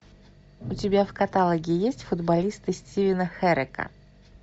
у тебя в каталоге есть футболисты стивена херека